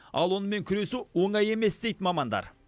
ал онымен күресу оңай емес дейді мамандар